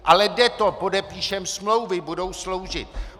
Ale jde to, podepíšeme smlouvy, budou sloužit.